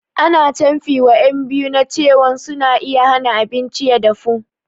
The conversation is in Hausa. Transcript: Ana canfi wa ƴan biyu na cewan suna iya hana abinci ya dafu